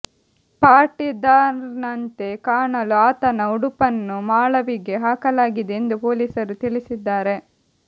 ಪಾಟಿದಾರ್ನಂತೆ ಕಾಣಲು ಆತನ ಉಡುಪನ್ನು ಮಾಳವಿಗೆ ಹಾಕಲಾಗಿದೆ ಎಂದು ಪೊಲೀಸರು ತಿಳಿಸಿದ್ದಾರೆ